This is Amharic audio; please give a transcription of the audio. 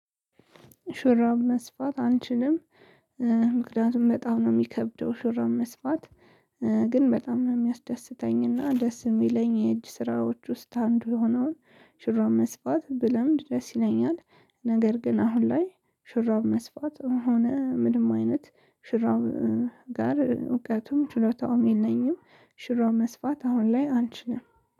ሹራብ መስፋት አልችልም። ምክንያቱም በጣም ነው የሚከብደው ሹራብ መስፋት። ግን በጣም ነው የሚያስደስተኝ እና ደስ የሚለኝ የእጅ ስራዎች ውስጥ አንዱ የሆነውን ሽራብ መስፋት ብለምድ ደስ ይለኛል። ነገር ግን አሁን ላይ ሽራብ መስፋት ሆነ ምንም አይነት ሽራብ ጋር እውቀቱም ችሎታውም የለኝም። ሽራብ መስፋት አሁን ላይ አልችልም